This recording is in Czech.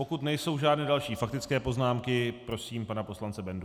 Pokud nejsou žádné další faktické poznámky, prosím pana poslance Bendu.